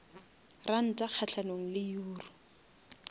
ranta kgahlanong le euro